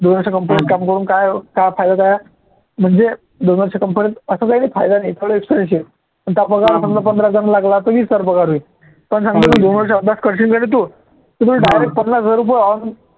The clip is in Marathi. दोन वर्ष company त काम करून काय काय फायद्याचं आहे म्हणजे दोन वर्ष company त असं काही नाही फायदा नाही पगार समजा पंधरा हजार लागला तर वीस हजार होईल पण सांगतो मी दोन वर्ष अभ्यास करशील का रे तू direct पन्नास हजार रुपये